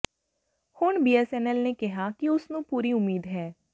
ਹੁਣ ਬੀਐੱਸਐੱਨਐੱਲ ਨੇ ਕਿਹਾ ਕਿ ਉਸ ਨੂੰ ਪੂਰੀ ਉਮੀਦ ਹੈ